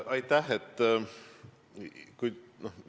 Aitäh!